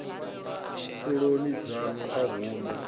pfuloni dzanu a hu na